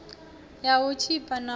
ya u tshipa na ya